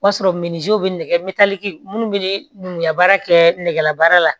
O b'a sɔrɔ bɛ nɛgɛ minnu bɛ ne nuguya baara kɛ nɛgɛbaara la